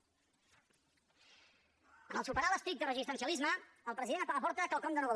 en superar l’estricte resistencialisme el president aporta quelcom de nou